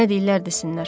Nə deyirlər desinlər.